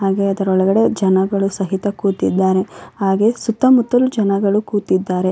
ಹಾಗಾದರೆ ಒಳಗಡೆ ಜನಗಳು ಸಹಿತ ಕೂತಿದ್ದಾರೆ ಹಾಗು ಸುತ್ತಮುತ್ತ ಜನಗಳು ಸಹಿತ ಕೂತಿದ್ದಾರೆ .